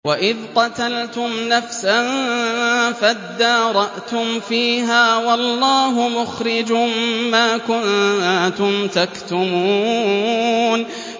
وَإِذْ قَتَلْتُمْ نَفْسًا فَادَّارَأْتُمْ فِيهَا ۖ وَاللَّهُ مُخْرِجٌ مَّا كُنتُمْ تَكْتُمُونَ